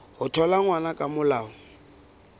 ho thola ngwana ka molao